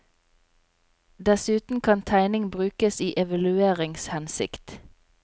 Dessuten kan tegning brukes i evalueringshensikt.